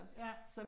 Ja